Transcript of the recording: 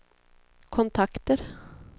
kontakter